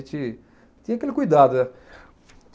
A gente tinha aquele cuidado, né.